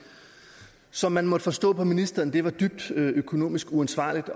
som man måtte forstå på ministeren var dybt økonomisk uansvarligt